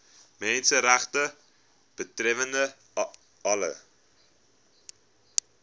menseregte betreffende alle